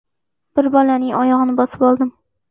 Bir bolaning oyog‘ini bosib oldim.